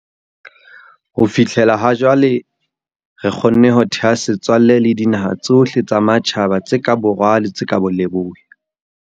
Ho fihlela ha jwale, re kgonne ho theha setswalle le dinaha tsohle tsa matjhaba tse ka borwa le tse ka leboya.